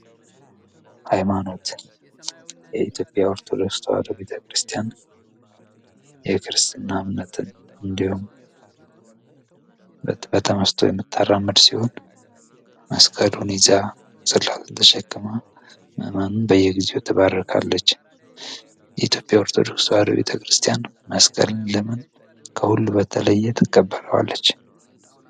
ሃይማኖት የኢትዮጵያ ኦርቶዶክስ ተዋህዶ ቤተ ክርስቲያን የክርስትና እምነት በተመስጦ የምታራምድ ሲሆን መስቀሉን ተሸከመው የተባረካለች ኢትዮጵያ ኦርቶዶክስ ተዋህዶ ቤተክርስቲያን መስቀል ለምን ከሁሉ በተለይ የተቀበረዋለች።